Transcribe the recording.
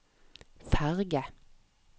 ferge